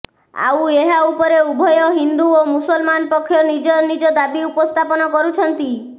ଆଉ ଏହା ଉପରେ ଉଭୟ ହିନ୍ଦୁ ଓ ମୁସଲମାନ ପକ୍ଷ ନିଜ ନିଜ ଦାବି ଉପସ୍ଥାପନ କରୁଛନ୍ତି